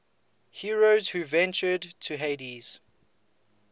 heroes who ventured to hades